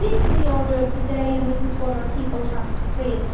These are the order of the day and this is what our people have to face.